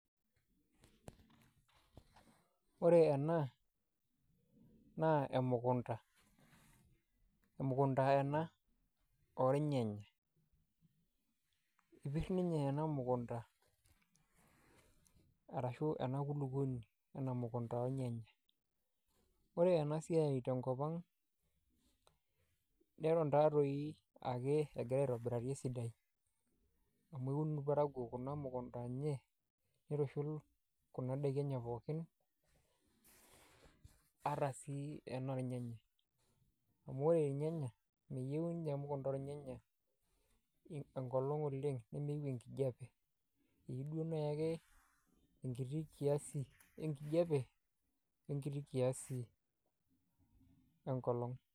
Ore ena naa emukunda, emukunda ena ornyanya epir ninye ena mukunda arashu ena kulukoni ena mukunda ornyanya. Ore ena siai tenkop ang' neton taa toi ake egira aitobirari esidai amu eun irparakuo kuna mukunda enye nitushul kuna daiki enye pookin ata sii ena ornyanya amu ore irnyanya meyeu nye emukunda ornyanya enkolong' oleng' nemeyeu enkijape eyeu nai ake enkiti kiasi enkijape we nkiti kiasi enkolong'.